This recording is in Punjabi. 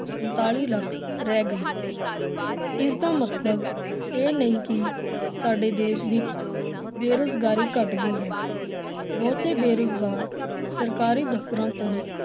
ਪੰਤਾਲੀ ਲੱਖ ਰਹਿ ਗਈ ਪਰ ਇਸਦਾ ਮਤਲਬ ਇਹ ਨਹੀਂ ਕਿ ਸਾਡੇ ਦੇਸ ਵਿੱਚ ਬੇਰੁਜ਼ਗਾਰੀ ਘੱਟ ਗਈ ਹੈ, ਬਹੁਤੇ ਬੇਰੁਜ਼ਗਾਰ ਸਰਕਾਰੀ ਦਫ਼ਤਰਾਂ ਤੋਂ